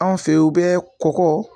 An fɛyi u bɛ kɔgɔ.